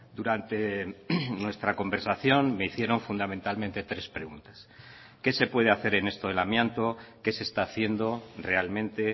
durante nuestra conversación me hicieron fundamentalmente tres preguntas qué se puede hacer en esto del amianto qué se está haciendo realmente